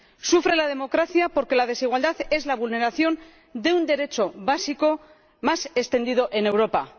Sufre la democracia porque la desigualdad es la vulneración de un derecho básico más extendida en Europa.